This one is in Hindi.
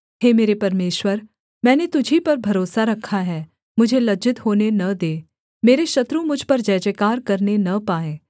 हे मेरे परमेश्वर मैंने तुझी पर भरोसा रखा है मुझे लज्जित होने न दे मेरे शत्रु मुझ पर जयजयकार करने न पाएँ